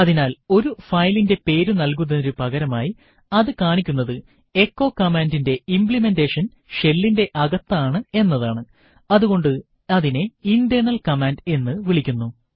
അതിനാൽ ഒരു ഫയലിന്റെ പേരു നൽകുന്നതിനു പകരമായി അതു കാണിക്കുന്നത് എച്ചോ command ന്റെ ഇംപ്ലിമെൻറെഷൻ shell ന്റെ അകത്താണ് എന്നതാണ്അതുകൊണ്ട് അതിനെ ഇന്റേർണൽ കമാൻഡ് എന്ന് വിളിക്കുന്നു